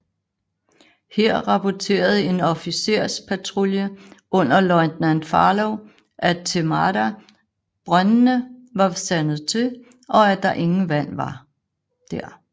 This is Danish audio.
Her rapporterede en officerspatrulje under løjtnant Farlow af Themada brøndene var sandet til og at der ingen vand var der